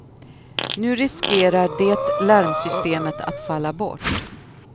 Nu riskerar det larmsystemet att falla bort.